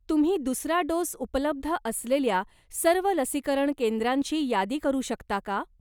तुम्ही दुसरा डोस उपलब्ध असलेल्या सर्व लसीकरण केंद्रांची यादी करू शकता का?